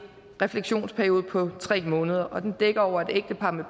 refleksionsperiode på tre måneder og den dækker over at et ægtepar med